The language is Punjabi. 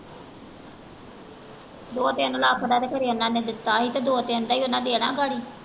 ਦੋ ਤਿੰਨ ਲੱਖ ਦਾ ਖਰੇ ਇਹਨਾਂ ਨੇ ਦਿੱਤਾ ਹੀ ਤੇ ਦੋ ਤਿੰਨ ਦਾ ਈ ਓਹਨਾ ਦੇਣਾ ਗਾੜੀ।